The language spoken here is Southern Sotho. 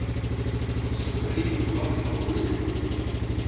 supreme court ruled